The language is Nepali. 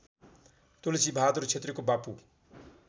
तुलसीबहादुर क्षेत्रीको बापू